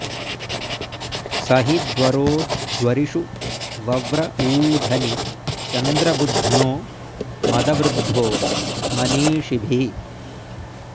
स हि द्वरो द्वरिषु वव्र ऊधनि चन्द्रबुध्नो मदवृद्धो मनीषिभिः